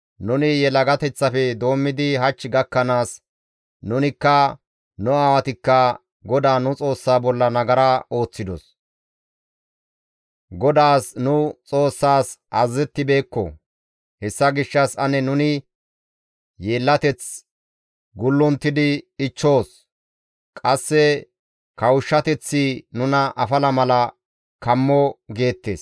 Nuni yelagateththafe doommidi hach gakkanaas, nunikka nu aawatikka GODAA nu Xoossa bolla nagara ooththidos; GODAAS nu Xoossaas azazettibeekko; hessa gishshas ane nuni yeellateth gullunttidi ichchoos; qasse kawushshateththi nuna afala mala kammo» geettes.